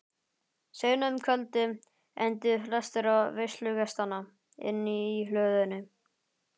Seinna um kvöldið enduðu flestir veislugestanna inni í hlöðunni.